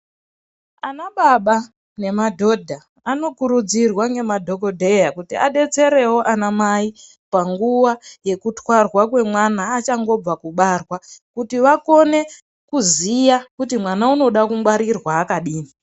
Ana baba nenmadhodha anokuridzirwa nemadhokodheya kuti adetsere wo ana mai ngeva yekutwarwa kweana achangobva mukubarwa kuti vakone kuziya kuti mwana anoda kungwarirwa akadini.